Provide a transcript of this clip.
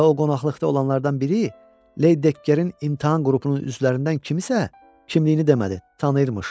Bax o qonaqlıqda olanlardan biri Led Dekkerin imtahan qrupunun üzvlərindən kimisə kimliyini demədi, tanıyırmış.